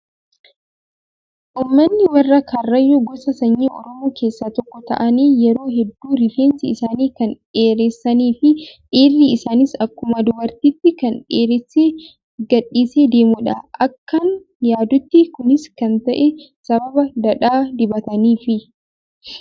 Uummmani warra karrayyuu gosa sanyii oromoo keessaa tokko ta'anii yeroo hedduu rifeensa isaanii kan dheeresanii fi dhiirri isaaniis akkuma dubartiitti kan dheeressee gadhiisee deemudha. Akkan yaadutti kunis kan ta'e sababa dhadhaa dibataniifi.